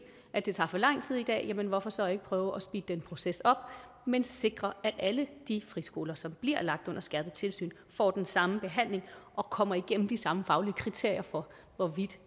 at det tager for lang tid i dag jamen hvorfor så ikke prøve at speede den proces op men sikre at alle de friskoler som bliver lagt under skærpet tilsyn får den samme behandling og kommer igennem de samme faglige kriterier for hvorvidt